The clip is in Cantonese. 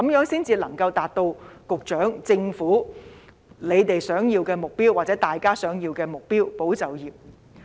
這樣才能夠達到局長和政府的目標，或市民大眾的目標，便是"保就業"。